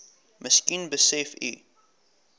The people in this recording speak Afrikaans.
miskien besef u